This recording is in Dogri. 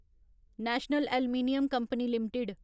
national aluminium company limited